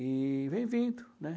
E vem vindo, né?